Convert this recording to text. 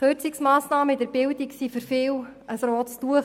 Kürzungsmassnahmen bei der Bildung sind für viele ein rotes Tuch.